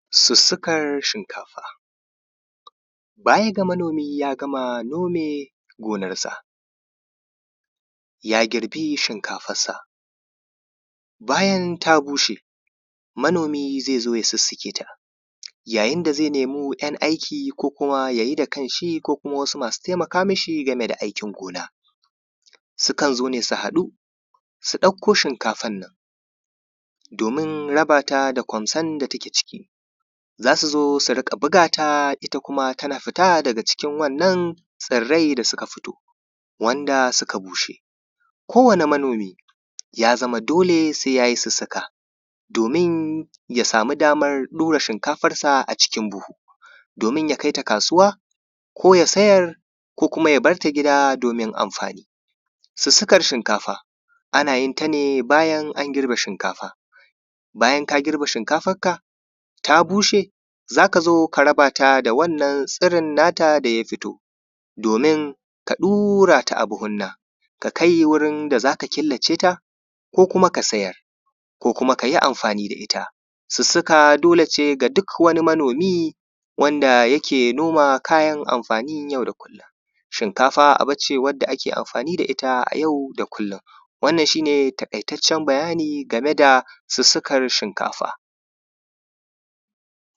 sussukar shinkafa baya ga manomi ya gama nome gonarsa ya girbi shinkafarsa bayan ta bushe manomi zai zo ya sussuke ta yayin da zai nemo Ɂyan aiki ko kuma ya yi da kan shi ko kuma wasu masu taimaka mi shi game da aikin gona sukan zo ne su haɗu su ɗakko shinkafar nan domin raba ta da kwamson da take ciki za su zo su riƙa buga ta ita kuma tana fita daga cikin wannan tsirrai da suka fito wanda suka bushe kowane manomi ya zama dole sai ya yi sussuka domin ya samu damar ɗura shinkafar sa a cikin buhu domin ya kaita kasuwa ko ya siyar ko kuma ya bar ta gida domin amfani sussukar shinkafa ana yin ta ne bayan an girbe shinkafa bayan ka girbe shinkafar ka ta bushe za ka zo ka raba ta da wannan tsirin na ta da ya fito domin ka ɗura ta a buhunan ka kai wurin da za ka killa ce ta ko kuma ka siyar ko kuma ka yi amfani da ita sussuka dole ce ga duk wani manomi wanda yake noma kayan amfanin yau da kullum shinkafa abu ce wanda ake amfani da ita a yau da kullum wannan shi ne taƙaitaccen bayani game da sussukar shinkafa